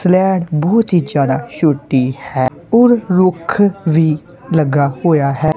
ਸਲੈਡ ਬਹੁਤ ਹੀ ਜਿਆਦਾ ਛੋਟੀ ਹੈ ਔਰ ਰੁੱਖ ਵੀ ਲੱਗਾ ਹੋਇਆ ਹੈ।